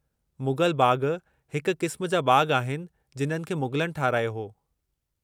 मुग़ल बाग़ हिकु क़िस्म जा बाग़ आहिनि जिन्हनि खे मुग़लनि ठाहिरायो हो।